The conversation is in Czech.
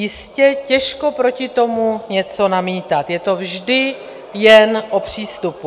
Jistě, těžko proti tomu něco namítat, je to vždy jen o přístupu.